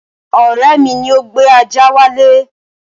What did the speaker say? Ọ̀rẹ́ mi ni ó gbé ajá wálé